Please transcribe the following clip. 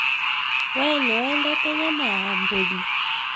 We nĩwendete nyama ya mbũri?